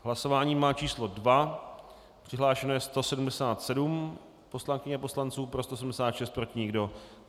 Hlasování má číslo 2, přihlášeno je 177 poslankyň a poslanců, pro 176, proti nikdo.